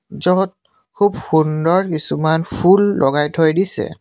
য'ত সুব সুন্দৰ কিছুমান ফুল লগাই থৈ দিছে।